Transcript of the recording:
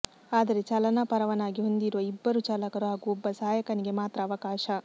ಆದರೆ ಚಾಲನಾ ಪರವಾನಗಿ ಹೊಂದಿರುವ ಇಬ್ಬರು ಚಾಲಕರು ಹಾಗೂ ಒಬ್ಬ ಸಹಾಯಕನಿಗೆ ಮಾತ್ರ ಅವಕಾಶ